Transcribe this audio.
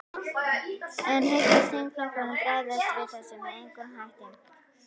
En hyggst þingflokkurinn bregðast við þessu með einhverjum hætti?